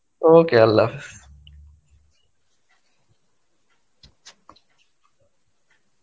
okay Arbi